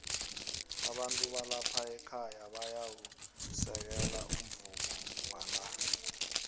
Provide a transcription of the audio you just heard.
abantu balapha ekhaya bayau u sekelo umvumowala